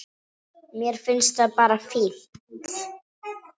Mér finnst það bara fínt.